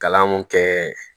Kalan mun kɛ